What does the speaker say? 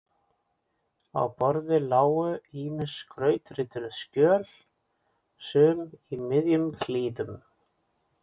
Á borði lágu ýmis skrautrituð skjöl, sum í miðjum klíðum.